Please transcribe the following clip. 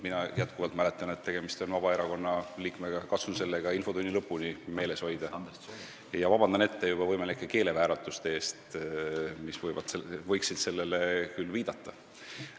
Mina mäletan, et tegemist on Vabaerakonna liikmega – katsun selle ka infotunni lõpuni meeles hoida ning palun juba ette vabandust võimalike keelevääratuste eest, mis võiksid millelegi muule viidata.